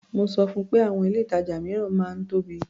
Mo sọ fun pé àwọn ilé-ìtàjà mìíràn máa ń tóbi.